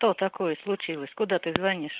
что такое случилось куда ты звонишь